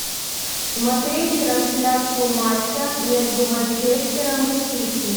смотреть трансляцию матча между манчестером и сити